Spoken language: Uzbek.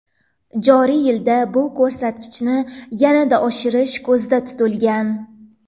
Joriy yilda bu ko‘rsatkichni yanada oshirish ko‘zda tutilgan.